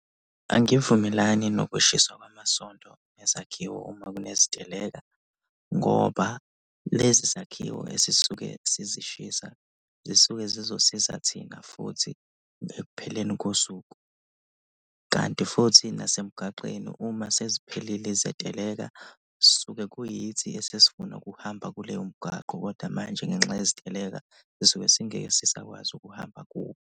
Angivumelani nokushiswa kwamasonto nezakhiwo uma kuneziteleka ngoba lezi zakhiwo esisuke sizishisa, zisuke zizosiza thina futhi ekupheleni kosuku. Kanti futhi nasemgwaqeni uma seziphelile izeteleka suke kuyithi esesifuna ukuhamba kuleyo mgwaqo kodwa manje ngenxa yeziteleka sisuke singeke sisakwazi ukuhamba kuwo.